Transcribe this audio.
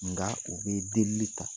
Nga u bi delili ta.